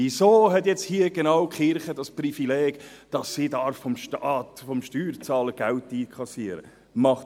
Wieso hat ausgerechnet die Kirche das Privileg, dass sie vom Steuerzahler Geld einkassieren darf?